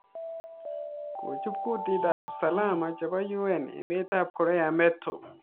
ko chupKundit ap Usalama chebo UN emet ap Korea meto.